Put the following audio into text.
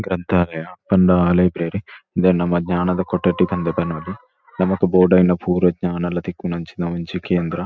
ಗ್ರಂಥಾಲಯ ಪಂಡ ಲೈಬ್ರೆರಿ ಇಂದೆನ್ ನಮ ಜ್ಞಾನದ ಕೊಠಡಿ ಪಂದ್ ಪನೊಲಿ ನಮಕ್ ಬೊಡಾಯಿನ ಪೂರ ಜ್ಞಾನಲ ತಿಕ್ಕುನಂಚಿನ ಒಂಜಿ ಕೇಂದ್ರ.